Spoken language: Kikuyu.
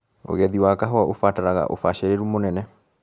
ũgethi wa kahũa ũbataraga ũbacĩrĩru mũnene.